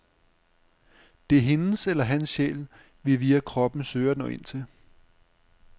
Det er hendes eller hans sjæl, vi via kroppen søger at nå ind til.